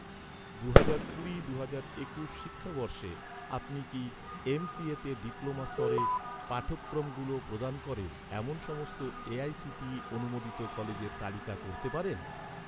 দুহাজার কুড়ি দুহাজার একুশ শিক্ষাবর্ষে, আপনি কি এমসিএতে ডিপ্লোমা স্তরের পাঠক্রমগুলো প্রদান করে এমন সমস্ত এ.আই.সি.টি.ই অনুমোদিত কলেজের তালিকা করতে পারেন?